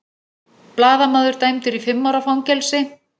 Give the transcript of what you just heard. Blaðamaður dæmdur í fimm ára fangelsi